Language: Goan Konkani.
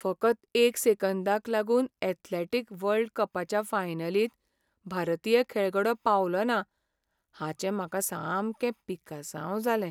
फकत एक सेकंदाक लागून ऍथलेटीक वर्ल्ड कपाच्या फायनलींत भारतीय खेळगडो पावलोना हाचें म्हाका सामकें पिकसांव जालें.